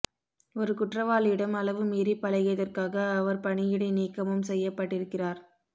ஒரு குற்றவாளியிடம் அளவு மீறி பழகியதற்காக அவர் பணி இடைநீக்கமும் செய்யப்பட்டிருக்கிறார்